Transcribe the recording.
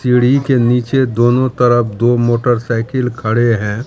सीढ़ी के नीचे दोनों तरफ दो मोटरसाइकिल खड़े हैं।